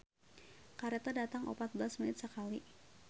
"Kareta datang opat belas menit sakali"